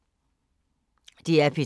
DR P3